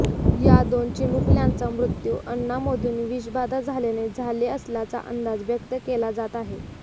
या दोन चिमुकल्यांचा मृत्यू अन्नामधून विषबाधा झाल्याने झाले असल्याचा अंदाज व्यक्त केला जात आहे